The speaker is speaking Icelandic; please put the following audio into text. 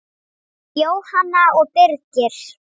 Jóhanna og Birgir.